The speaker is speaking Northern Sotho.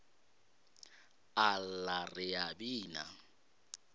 a lla re a bina